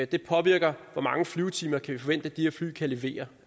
det påvirker hvor mange flyvetimer vi kan forvente at de her fly kan levere